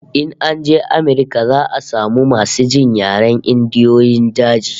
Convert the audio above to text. In an je Amirka za'a samu masu jin yaren Indiyoyin daji